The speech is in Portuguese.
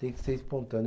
Tem que ser espontâneo.